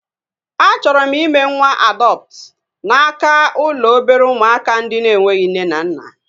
A chọrọ m ime nwa adọptu n'aka ụlọ obere ụmụaka ndị na-enweghị nne na nna